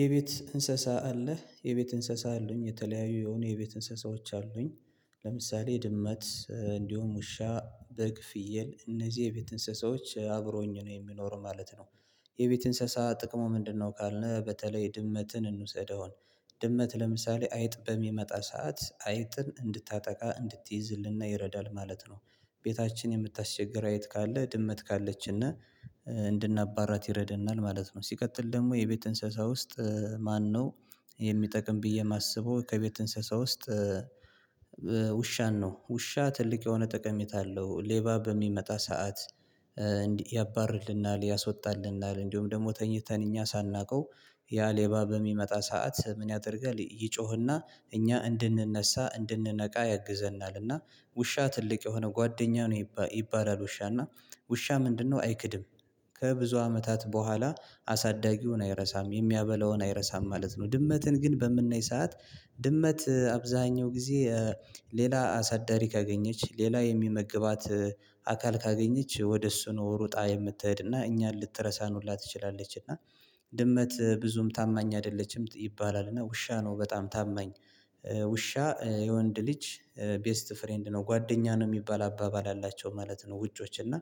የቤት እንስሳ አለህ የቤት እንስሳ አሉኝ የተለያዩ የሆነ የቤት እንስሳዎች አሉኝ። ለምሳሌ ድመት እንዲሁም ውሻ በግ ፍየል እነዚህ የቤት እንስሳዎች አብረውኝ ነው የሚኖሩ ማለት ነው። የቤት እንስሳ ጥቅሙ ምንድነው? ካልነ በተለይ ድመትን እንውሰደው። ድመት ለምሳሌ አይጥ በሚመጣ ሰዓት አይጥን እንድታጠቃ እንድትይዝልና ይረዳል ማለት ነው። ቤታችን የምታስቸግር አይጥ ካለ ድመት ካለችነ። እንድናባራት ይረደናል ማለት ነው። ሲቀጥል ደግሞ የቤት እንስሳ ውስጥ ማነው? የሚጠቅም ብዬ የማስበው ከቤት እንስሳ ውስጥ። ውሻን ነው ውሻ ትልቅ የሆነ ጠቀሜታ አለው። ሌባ በሚመጣ ሰዓት። እንዲህ ያባርርልናል ያስዎጣልናል እንዲሁም ደግሞ ተኝተን እኛ ሳናውቀው ያ ሌባ በሚመጣ ሰዓት ምን ያደርጋል ይጮህና? እኛ እንድንነሳ እንድንነቃ ያግዘናልና። ውሻ ትልቅ የሆነ ጓደኛ ነው ይባላል ውሻና። ውሻ ምንድነው አይክድም? ከብዙ አመታት በኋላ አሳዳጊውን አይረሳም የሚያበላውን አይረሳም ማለት ነው። ድመትን ግን በምናይ ሰዓት ድመት አብዛኛው ጊዜ። ሌላ አሳዳሪ ካገኘች ሌላ የሚመግባት አካል ካገኘች ወደ እሱ ነው ሩጣ የምትሄድና እኛን ልትረሳን ሁላ ትችላለች እና። ድመት ብዙም ታማኝ አይደለችም ይባላል። እና ውሻ ነው በጣም ታመኝ። ውሻ የወንድ ልጅ ቤስት ፍሬንድ ነው ጓደኛ ነው የሚባል አባባል አላቸው ማለት ነው። ውጮች እና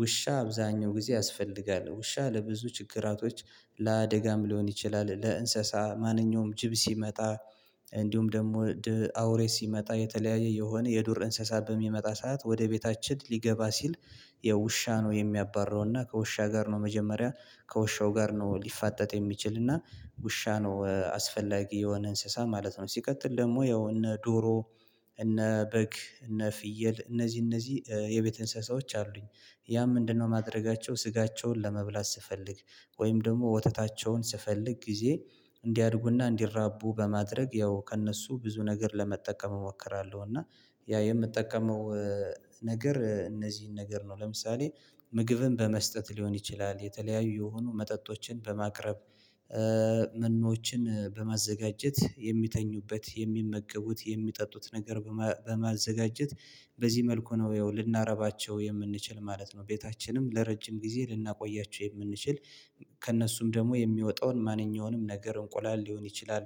ውሻ አብዛኛው ጊዜ ያስፈልጋል ውሻ ለብዙ ችግራቶች። ለአደጋም ሊሆን ይችላል ለእንስሳ ማንኛውም ጅብ ሲመጣ። እንዲሁም ደግሞ ድህ አውሬ ሲመጣ የተለያየ የሆነ የዱር እንስሳ በሚመጣ ሰዓት ወደ ቤታችን ሊገባ ሲል። የውሻ ነው የሚያባርረውና ከውሻ ጋር ነው መጀመሪያ ከውሻው ጋር ነው ሊፋጠጥ የሚችልና። ውሻ ነው አስፈላጊ የሆነ እንስሳ ማለት ነው። ሲቀጥል ደግሞ ያው እነ ዶሮ እነ በግ እነ ፍየል እነዚህ እነዚህ የቤት እንስሳዎች አሉኝ። ያም ምንድነው ማድረጋቸው ስጋቸውን ለመብላት ስፈልግ። ወይም ደግሞ ወተታቸውን ስፈልግ ጊዜ እንዲያድጉና እንዲራቡ በማድረግ ያው ከእነሱ ብዙ ነገር ለመጠቀም እሞክራለሁ እና። ያ የምጠቀመው ነገር እነዚህን ነገር ነው። ለምሳሌ ምግብን በመስጠት ሊሆን ይችላል የተለያዩ የሆኑ መጠጦችን በማቅረብ። መኖዎችን በማዘጋጀት የሚተኙበት የሚመገቡት የሚጠጡት ነገር በማዘጋጀት። በዚህ መልኩ ነው ያው ልናረባቸው የምንችል ማለት ነው። ቤታችንም ለረጅም ጊዜ ልናቆያቸው የምንችል። ከእነሱም ደግሞ የሚወጣውን ማንኛውንም ነገር እንቁላል ሊሆን ይችላል።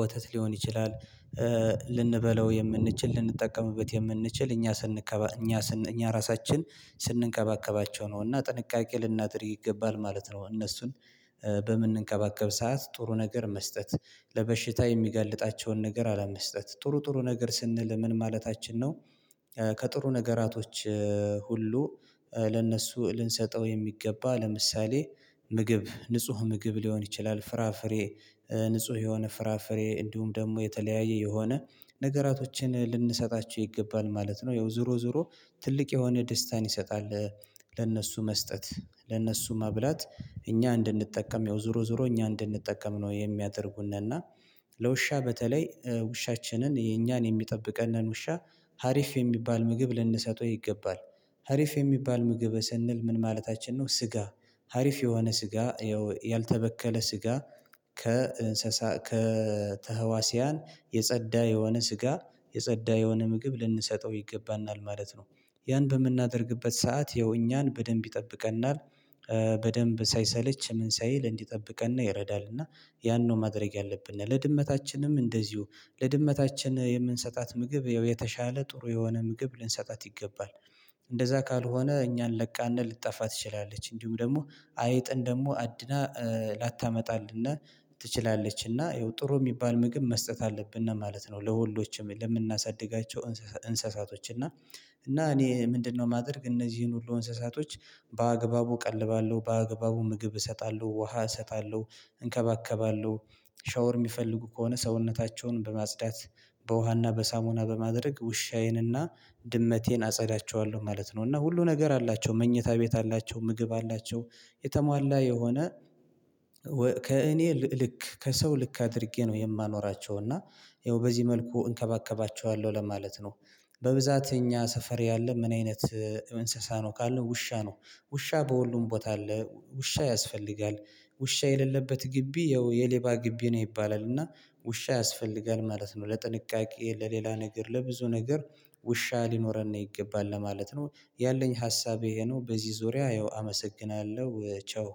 ወተት ሊሆን ይችላል። ልንበላው የምንችል ልንጠቀምበት የምንችል እኛ ስንከባ እኛ ራሳችን ስንንከባከባቸው ነው። እና ጥንቃቄ ልናድርግ ይገባል ማለት ነው። እነሱን በምንንከባከብ ሰዓት ጥሩ ነገር መስጠት ለበሽታ የሚገልጣቸውን ነገር አለመስጠት ጥሩ ጥሩ ነገር ስንል ምን ማለታችን ነው? ከጥሩ ነገራቶች ሁሉ ለእነሱ ልንሰጠው የሚገባ ለምሳሌ ምግብ ንጹህ ምግብ ሊሆን ይችላል ፍራፍሬ። ንጹህ የሆነ ፍራፍሬ እንዲሁም ደግሞ የተለያየ የሆነ ነገራቶችን ልንሰጣቸው ይገባል ማለት ነው። ያው ዙሮ ዙሮ ትልቅ የሆነ ደስታን ይሰጣል። ለነሱ መስጠት ለእነሱ መብላት እኛ እንድንጠቀም ያው ዙሮ ዙሮ እኛ እንድንጠቀም ነው የሚያደርጉን እና። ለውሻ በተለይ ውሻችንን የኛን የሚጠብቀንን ውሻ አሪፍ የሚባል ምግብ ልንሰጠው ይገባል። አሪፍ የሚባል ምግብ ስንል ምን ማለታችን ነው? ስጋ አሪፍ የሆነ ስጋ ያልተበከለ ስጋ ከእንስሳ ከተሀዋሲያን የጸዳ የሆነ ስጋ የጸዳ የሆነ ምግብ ልንሰጠው ይገባናል ማለት ነው። ያን በምናደርግበት ሰዓት ይኸው እኛን በደንብ ይጠብቀናል። በደንብ ሳይሰለች ምንሳይል እንዲጠብቀነ ይረዳልና። ያን ነው ማድረግ ያለብን ለድመታችንም እንደዚሁ ለድመታችን የምንሰጣት ምግብ ያው የተሻለ ጥሩ የሆነ ምግብ ልንሰጣት ይገባል። እንደዛ ካልሆነ እኛን ለቃነ ልትጣፋ ትችላለች። እንዲሁም ደግሞ አይጥን ደግሞ አድና ላታመጣልነ። ትችላለችና ይኸው ጥሩ የሚባል ምግብ መስጠት አለብን ነው ማለት ነው። ለሁሎችም ለምናሳድጋቸው እንስሳቶች እና እና እኔ ምንድነው የማደርግ እነዚህን ሁሉ እንስሳቶች። በአግባቡ እቀልባለሁ በአግባቡ ምግብ እሰጣለሁ ውሃ እሰጣለሁ እንከባከባለሁ። ሻወር የሚፈልጉ ከሆነ ሰውነታቸውን በማጽዳት። በውሃና በሳሙና በማድረግ ውሻዬንና ድመቴን አጸዳቸዋለሁ ማለት ነው። እና ሁሉ ነገር አላቸው መኝታ ቤት አላቸው ምግብ አላቸው። የተሟላ የሆነ ከእኔ ልክ ከሰው ልክ አድርጌ ነው የማኖራቸው እና። ያው በዚህ መልኩ እንከባከባቸዋለሁ ለማለት ነው። በብዛት እኛ ሰፈር ያለ ምን አይነት? እንስሳ ነው ካለ ውሻ ነው። ውሻ በሁሉም ቦታ አለ ውሻ ያስፈልጋል። ውሻ የሌለበት ግቢ ያው የሌባ ግቢ ነው ይባላልና። ውሻ ያስፈልጋል ማለት ነው። ለጥንቃቄ ለሌላ ነገር ለብዙ ነገር ውሻ ሊኖረን ነው ይገባል ለማለት ነው። ያለኝ ሀሳቤ ይሄ ነው። በዚህ ዙሪያ ያው አመሰግናለሁ ቻው።